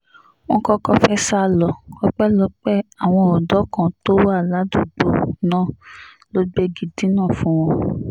wọ́n kọ́kọ́ fẹ́ẹ́ sá lọ ọpẹ́lọpẹ́ àwọn ọ̀dọ́ kan tó wà ládùúgbò náà ló gbégi dínà fún wọn